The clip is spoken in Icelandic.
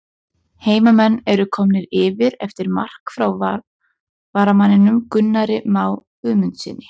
HEIMAMENN ERU KOMNIR YFIR EFTIR MARK FRÁ VARAMANNINUM GUNNARI MÁ GUÐMUNDSSYNI!!